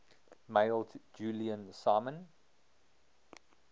mailed julian simon